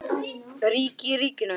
Ríki í ríkinu?